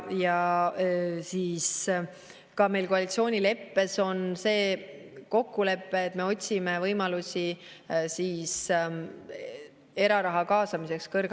Meil on koalitsioonileppes kokkulepe, et otsime võimalusi kõrgharidusse eraraha kaasamiseks.